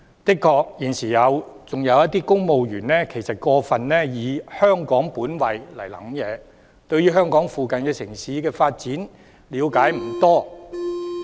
的確，現時仍有一些公務員過分以"香港本位"來思考，對香港附近城市的發展了解不多。